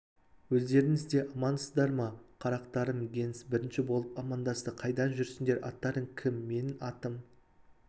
өздеріңіз де амансыздар ма қарақтарым генс бірінші болып аман- дасты қайдан жүрсіңдер аттарың кім менің атым